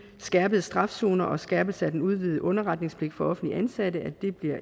skærpet straf zoner og skærpelse af den udvidede underretningspligt for offentligt ansatte bliver